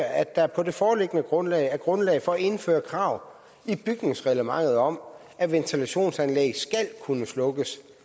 at der på det foreliggende grundlag er grundlag for at indføre krav i bygningsreglementet om at ventilationsanlæg skal kunne slukkes